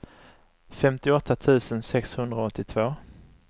femtioåtta tusen sexhundraåttiotvå